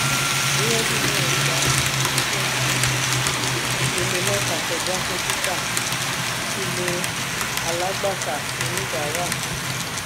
burẹdi náà gbà ìpele mẹta ìpele mẹta kọja fún títà: kle alagbata onibara.